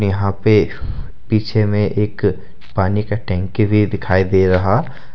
यहां पे पीछे में एक पानी का टंकी भी दिखाई दे रहा--